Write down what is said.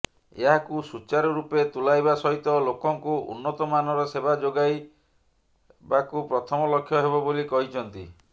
ଏହାକୁ ସୁଚାରୁ ରୂପେ ତୁଲାଇବା ସହିତ ଲୋକଙ୍କୁ ଉନ୍ନତମାନର ସେବା ଯୋଗାଇବାକ ପ୍ରଥମ ଲକ୍ଷ୍ୟ ହେବ ବୋଲି କହିଛନ୍ତି